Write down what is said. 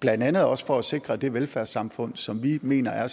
blandt andet også for at sikre det velfærdssamfund som vi mener er